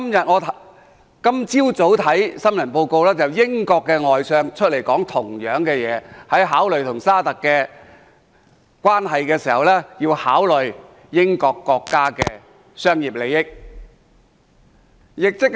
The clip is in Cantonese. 我今早看新聞報道，英國外相亦出來說相同的話，即在考慮與沙特阿拉伯的關係的同時，要考慮英國國家的商業利益。